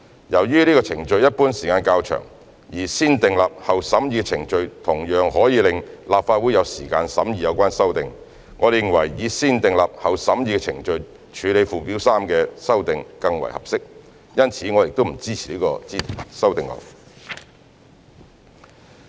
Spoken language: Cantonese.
由於此程序一般需時較長，而"先訂立後審議"的程序同樣可以讓立法會有時間審議有關修訂，我們認為以"先訂立後審議"的程序處理附表3的修訂更為合適，因此我們不支持這項修正案。